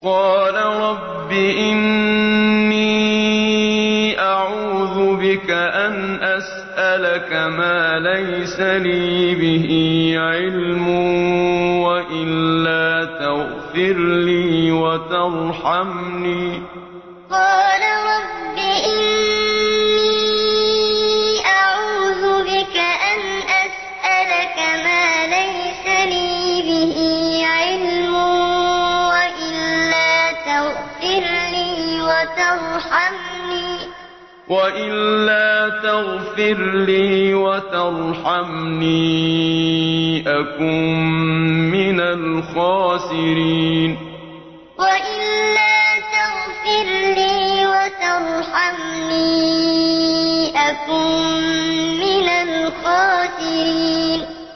قَالَ رَبِّ إِنِّي أَعُوذُ بِكَ أَنْ أَسْأَلَكَ مَا لَيْسَ لِي بِهِ عِلْمٌ ۖ وَإِلَّا تَغْفِرْ لِي وَتَرْحَمْنِي أَكُن مِّنَ الْخَاسِرِينَ قَالَ رَبِّ إِنِّي أَعُوذُ بِكَ أَنْ أَسْأَلَكَ مَا لَيْسَ لِي بِهِ عِلْمٌ ۖ وَإِلَّا تَغْفِرْ لِي وَتَرْحَمْنِي أَكُن مِّنَ الْخَاسِرِينَ